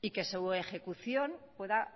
y que su ejecución pueda